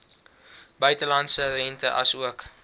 buitelandse rente asook